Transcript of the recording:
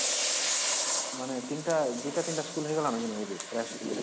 ମାନେ ୩ଟା ୨ଟା ୩ଟା school ହେଇଗଲାନ ନାଇଁ କି ପ୍ରାୟ school ରେ